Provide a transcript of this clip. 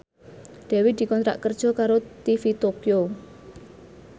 Dewi dikontrak kerja karo TV Tokyo